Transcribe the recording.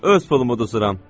Öz pulumu uzuram.